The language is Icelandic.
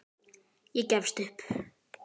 Ég gefst upp